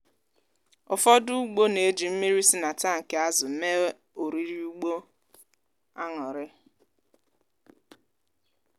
ụfọdụ ugbo na-eji mmiri si na tankị azụ mee oriri ugbo aṅụrị.